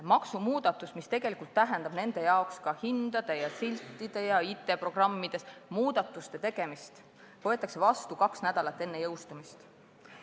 Maksumuudatus, mis tähendab nende jaoks hindade, nende siltidel ja IT-programmides muudatuste tegemist, võetakse vastu kaks nädalat enne jõustumist.